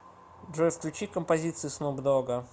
джой включи композиции снуп дога